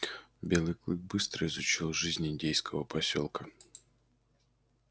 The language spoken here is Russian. белый клык быстро изучил жизнь индейского посёлка